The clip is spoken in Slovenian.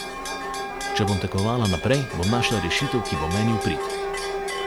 Če bom tekmovala naprej, bom našla rešitev, ki bo meni v prid.